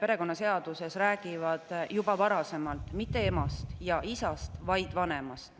perekonnaseaduse peatükid on juba varasemalt rääkinud mitte emast ja isast, vaid vanemast.